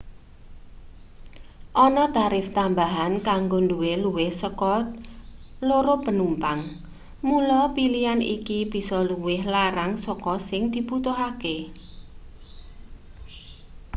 ana tarif tambahan kanggo duwe luwih saka 2 penumpang mula pilian iki bisa luwih larang saka sing dibutuhake